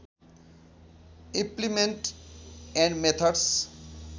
implement and methods